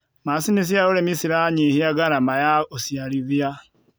macinĩ cia ũrĩmi ciranyihia garama ya uciarithia